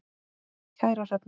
Kæra Hrefna,